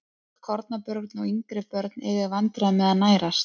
Mörg kornabörn og yngri börn eiga í vandræðum með að nærast.